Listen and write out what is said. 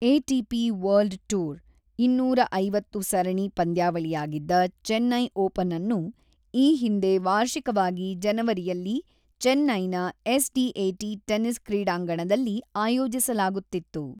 ATP. World tour ಇನ್ನೂರ ಐವತ್ತು ಸರಣಿ ಪಂದ್ಯಾವಳಿಯಾಗಿದ್ದ ಚೆನ್ನೈ ಓಪನ್ಅನ್ನು ಈ ಹಿಂದೆ ವಾರ್ಷಿಕವಾಗಿ ಜನವರಿಯಲ್ಲಿ ಚೆನ್ನೈನ ಎಸ್‌.ಡಿ.ಎ.ಟಿ. ಟೆನಿಸ್ ಕ್ರೀಡಾಂಗಣದಲ್ಲಿ ಆಯೋಜಿಸಲಾಗುತ್ತಿತ್ತು.